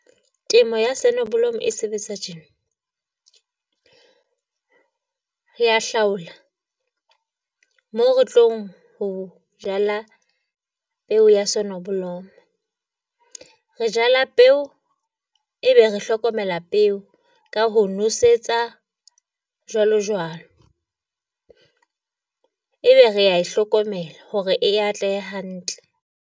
Temo ya sonneblom e sebetsa tjena, re ya hlaola moo re tlong ho jala peo ya sonneblom-o. Re jala peo, ebe re hlokomela peo ka ho nosetsa jwalo jwalo, ebe rea e hlokomela hore e atlehe hantle.